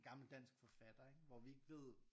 Gammel dansk forfatter ikke hvor vi ikke ved